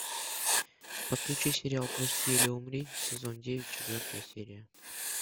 подключи сериал прости или умри сезон девять четвертая серия